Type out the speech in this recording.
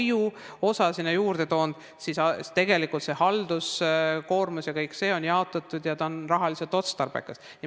Nüüd, kui on lastehoiu osa sinna juurde toodud, siis halduskoormus ja kõik see on jagatatud ja see on rahaliselt otstarbekas.